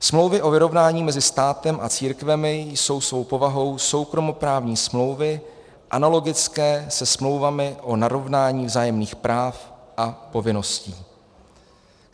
Smlouvy o vyrovnání mezi státem a církvemi jsou svou povahou soukromoprávní smlouvy analogické se smlouvami o narovnání vzájemných práv a povinností.